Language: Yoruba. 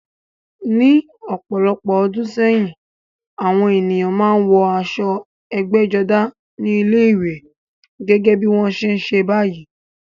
Ní ọ̀pọ̀lọpọ̀ ọdún sẹ́yìn, àwọn ènìyàn máa ń wọ aṣọ ẹgbẹ́jọdá ní ilé-ìwé, gẹ́gẹ́ bí wọ́n ṣe ń ṣe báyìí.